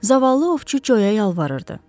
Zavallı ovçu Coya yalvarırdı.